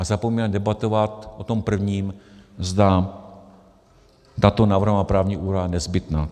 A zapomínáme debatovat o tom prvním, zda tato navrhovaná právní úprava je nezbytná.